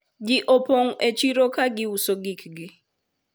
ji opong e chiro ka giuso gikgi